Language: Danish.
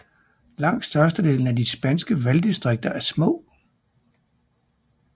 Langt størstedelen af de spanske valgdistriker er små